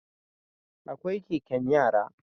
Akwai Keken yara